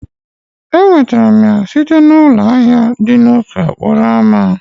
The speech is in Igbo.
Enwetara m ya site na ụlọ ahịa dị n'ofe okporo ámá.